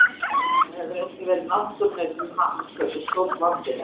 Það hefur einnig verið náttúrunni til happs hversu stórt landið er.